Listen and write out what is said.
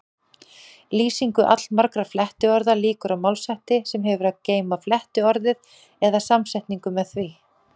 Lýsingu allmargra flettiorða lýkur á málshætti sem hefur að geyma flettiorðið eða samsetningu með því.